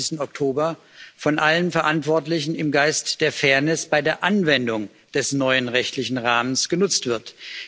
31. Oktober von allen Verantwortlichen im Geist der Fairness bei der Anwendung des neuen rechtlichen Rahmens genutzt werden.